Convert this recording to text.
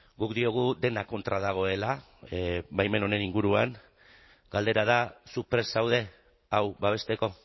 guk diogu dena kontra dagoela baimen honen inguruan galdera da zu prest zaude hau babesteko